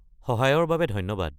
সহায়ৰ বাবে ধন্যবাদ।